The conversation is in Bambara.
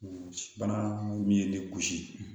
Bana mun be ne kun